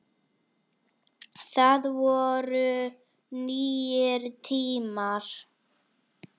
Það voru nýir tímar.